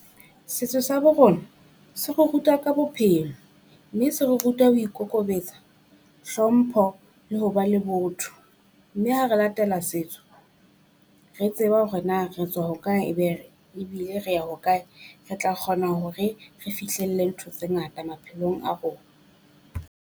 Setso sa bo rona se re ruta ka bophelo, mme se re ruta ho ikokobetsa hlompho le ho ba le botho. Mme ha re latela setso re tseba hore na re tswa hokae e be re ebile re ya hokae, re tla kgona hore re fihlelle ntho tse ngata maphelong a rona.